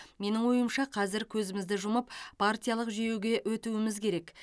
менің ойымша қазір көзімізді жұмып партиялық жүйеге өтуіміз керек